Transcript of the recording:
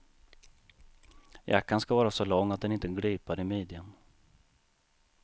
Jackan ska vara så lång att den inte glipar i midjan.